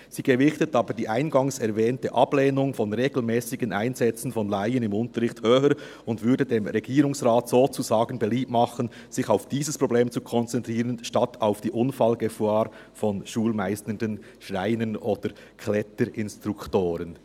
Sie gewichtet aber die eingangs erwähnte Ablehnung von regelmässigen Einsätzen von Laien im Unterricht höher und würde dem Regierungsrat sozusagen beliebt machen, sich auf dieses Problem zu konzentrieren statt auf die Unfallgefahr von schulmeisternden Schreiner- oder Kletter-Instruktoren.